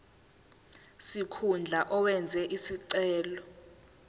sikhundla owenze isicelo